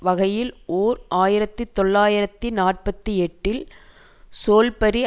வகையில் ஓர் ஆயிரத்தி தொள்ளாயிரத்து நாற்பத்தி எட்டில் சோல்பரி